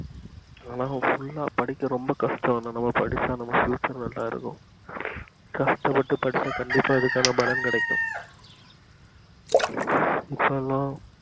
எல்ல full லா படிக்க ரொம்ப கஷ்டம் ஆனா நம்ம படிச்சா நம்ம future ரொம்ப நல்லா இருக்கும் கஷ்ட பட்டு படிச்சா கண்டிப்பா இதுக்கான பலன் கிடைக்கும் இப்பலா